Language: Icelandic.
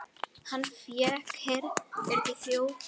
Hann fékk ekkert þjórfé.